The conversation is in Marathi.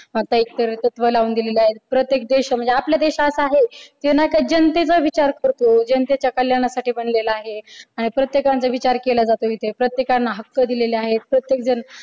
आता एक सरळ तत्व लावून दिलेलं आहे प्रत्येक देश म्हणजे आपला देश असा आहे ते ना की जनतेचा विचार करतो जनतेच्या कल्याणासाठी बनलेला आहे आणि प्रत्येकाचा विचार केला जातो इथे प्रत्येकांना हक्क दिलेले आहेत प्रत्येक जण